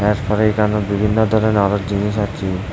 আর এইখানে বিভিন্ন ধরনের আরো জিনিস আছে।